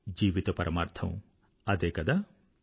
జీవిత పరమార్థం అదే కదా